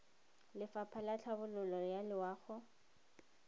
lefapha la tlhabololo ya loago